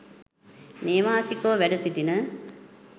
නේවාසිකව වැඩ සිටින